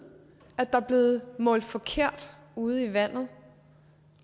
at der er blevet målt forkert ude i vandet